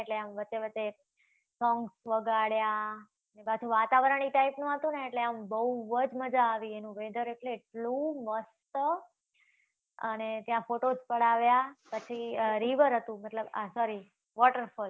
એટલે આમ વચ્ચે વચ્ચે songs વગાડ્યા. અને પાછુંં વાતાવરણ ઈ type નુંં હતુ ને, એટલે આમ બવ જ મજા આવી. એનું weather એટલે એટલું મસ્ત, અને ત્યાં photos પડાવ્યા, પછી આ river હતુ, મતલબ આ sorry waterfalls